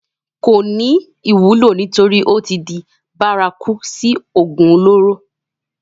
kò ní wúlò nítorí ó tí di bárakú sí ògùn olóró